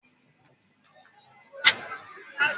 Ṣé dókítà máa wà ní tòsí ní ìrọ̀lẹ́ ọ̀la?